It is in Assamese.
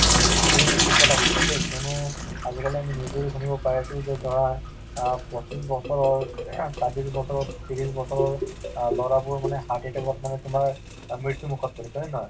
এইটো তুমি থিক কথা কৈছা দেই কিয়নো আজিকালি আমি news তো শুনিব পাই আছো ধৰা আ পঁচিছ বছৰৰ চৌব্বিশ বছৰত তিশ বছৰৰ আ ল'ৰাবোৰ মানে heart attack তুমাৰ মৃত্যু মুখত পৰিছে হয় নে নহয়